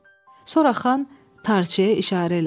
Sonra xan tarçaya işarə elədi.